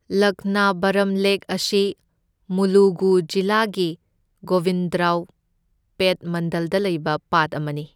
Laknavaram lake ꯑꯁꯤ ꯃꯨꯂꯨꯒꯨ ꯖꯤꯂꯥꯒꯤ ꯒꯣꯕꯤꯟꯗꯔꯥꯎꯄꯦꯠ ꯃꯟꯗꯜꯗ ꯂꯩꯕ ꯄꯥꯠ ꯑꯃꯅꯤ꯫